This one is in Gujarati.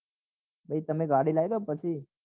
ભાઈ તમે ગાડી લાવી દો પછી